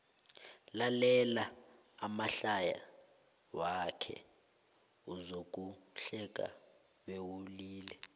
lalela amahlaya wakhe uzokuhleka bewulile